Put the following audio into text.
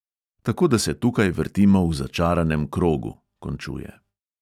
"Tako da se tukaj vrtimo v začaranem krogu," končuje.